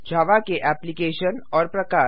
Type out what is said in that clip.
जावा के एप्लिकेशन और प्रकार